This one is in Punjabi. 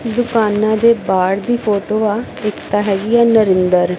ਦੁਕਾਨਾਂ ਦੇ ਬਾਹਰ ਦੀ ਫੋਟੋ ਆ ਇੱਕ ਤਾਂ ਹੈਗੀ ਆ ਨਰਿੰਦਰ--